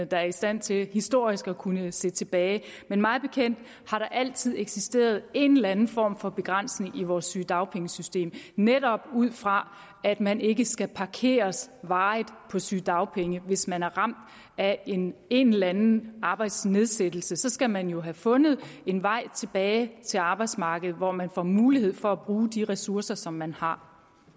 der er i stand til historisk at kunne se tilbage men mig bekendt har der altid eksisteret en eller anden form for begrænsning i vores sygedagpengesystem netop ud fra at man ikke skal parkeres varigt på sygedagpenge hvis man er ramt af en en eller anden arbejdsnedsættelse så skal man jo have fundet en vej tilbage til arbejdsmarkedet hvor man får mulighed for at bruge de ressourcer som man har